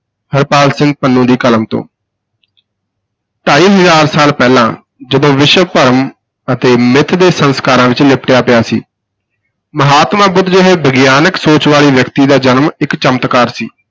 ਹਰਪਾਲ ਸਿੰਘ ਪੰਨੂ ਦੀ ਕਲਮ ਤੋਂ ਢਾਈ ਹਜ਼ਾਰ ਸਾਲ ਪਹਿਲਾਂ ਜਦੋਂ ਵਿਸ਼ਵ ਭਰਮ ਅਤੇ ਮਿੱਥ ਦੇ ਸੰਸਕਾਰਾਂ ਵਿਚ ਲਿਪਟਿਆ ਪਿਆ ਸੀ, ਮਹਾਤਮਾ ਬੁੱਧ ਜਿਹੇ ਵਿਗਿਆਨਕ ਸੋਚ ਵਾਲੇ ਵਿਅਕਤੀ ਦਾ ਜਨਮ ਇਕ ਚਮਤਕਾਰ ਸੀ।